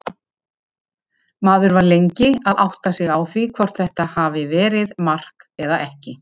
Maður var lengi að átta sig á því hvort þetta hafi verið mark eða ekki.